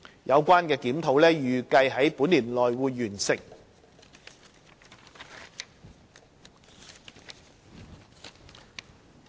有關檢討預計於本年內完成。